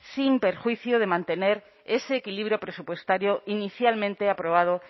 sin perjuicio de mantener ese equilibrio presupuestario inicialmente aprobado